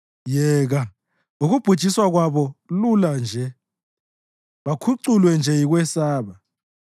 Yeka, ukubhujiswa kwabo lula nje, bakhuculwe nje yikwesaba!